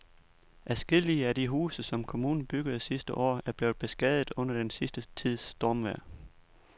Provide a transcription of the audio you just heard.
Adskillige af de huse, som kommunen byggede sidste år, er blevet beskadiget under den sidste tids stormvejr.